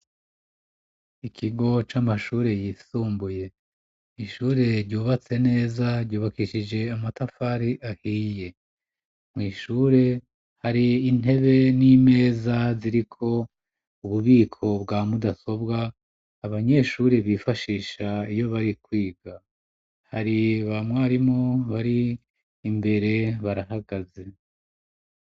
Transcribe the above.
Ikigo c'amashure yisumbuye ishure ryubatse neza ryubakishije amatafari ahiye. Mw'ishure hari intebe n'imeza ziriko ububiko bwa mudasobwa abanyeshuri bifashisha iyo bari kwiga hari bamwarimu bari imbere barahagaze.